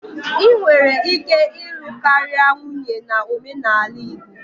Ị nwere ike ịlụ karịa nwunye na omenala Igbo.